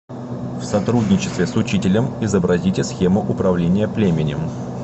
в сотрудничестве с учителем изобразите схему управления племенем